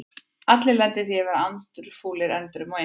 Allir lenda í því að vera andfúlir endrum og eins.